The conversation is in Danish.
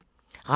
Radio24syv